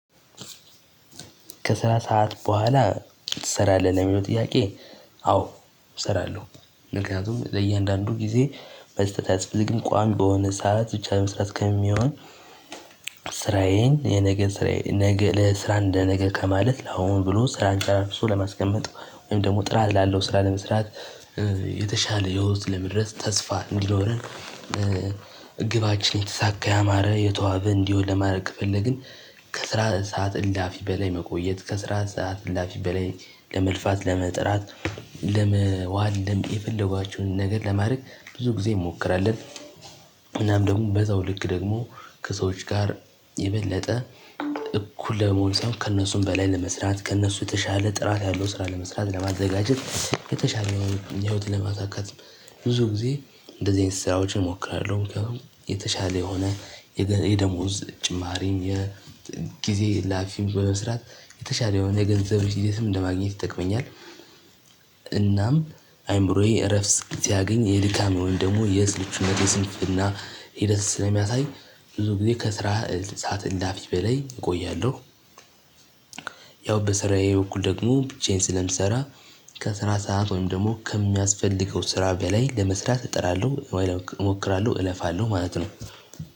ከስራ ሰዓት በኋላ ትሰራለህ ለሚለው ጥያቄ አዎ እሰራለሁ። ምክንያቱም ለእያንዳንዱ ጊዜ መስጠት አያስፈልግም ቋሚ በሆነ ሰዓት ብቻ መስራት ከሚሆን ስራዬን የነገ ስራዬን ለስራ ለነገ ከማለት ለአሁን ብሎ ስራን ጨራርሶ ለማስቀመጥ ወይም ደግሞ ጥራት ላለው ስራ ለመስራት የተሻለ ሂወት ለመድረስ ተስፋ እንዲኖረን። ግባችን የተሳካ ያማረ የተዋበ እንዲሆን ለማድረግ ከፈለግን ከስራ ሰዓት እላፊ በላይ መቆየት ከስራ ሰዓት እላፊ በላይ ለመልፋት ለመጥራት ለመዋልደም የፈለጓችሁን ነገር ለማድረግ ብዙ ጊዜ እንሞክራለን። ምናምን ደግሞ በዛው ልክ ደግሞ ከሰዎች ጋር የበለጠ እኩል ለመሆን ሰው ከእነሱም በላይ ለመስራት ከእነሱ የተሻለ ጥራት ያለው ስራ ለመስራት ለማዘጋጀት የተሻለ የህይወት ለማሳካት። ብዙ ጊዜ እንደዚህ አይነት ስራዎችን እሞክራለሁ። የተሻለ የሆነ የደሞዝ ጭማሪም የጊዜ እላፊ በመስራት የተሻለ የሆነ የገንዘብ ቢዝነስ ለማግኘት ይጠቅመኛል። እናም አይምሮዬ እረፍት ጊዜ ሲያገኝ የድካም ወይም ደግሞ የስልቹነቴ የስንፍና ሂደት ስለሚያሳይ ብዙ ጊዜ ከስራ ሰዓት እላፊ በላይ እቆያለሁ። ያው በስራዬ በኩል ደግሞ ብቻዬን ስለምሰራ ከስራ ሰዓት ወይም ደግሞ ከሚያስፈልገው ስራ በላይ ለመስራት እጥራለሁ እሞክራለሁ እለፋለሁ ማለት ነው።